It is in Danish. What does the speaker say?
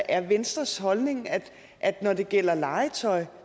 er venstres holdning at når det gælder legetøj